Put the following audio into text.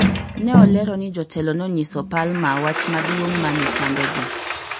ne olero ni jotelo nonyiso Palmer wach maduong' mane chandogi